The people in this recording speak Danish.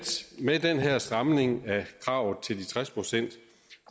med den her stramning af kravet til de tres procent